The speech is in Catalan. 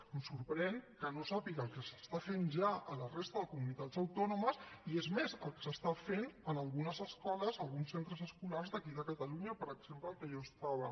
em sorprèn que no sàpiga el que s’està fent ja a la resta de comunitats autònomes i és més el que s’està fent en algunes escoles alguns centres escolars d’aquí de catalunya per exemple en el que jo estava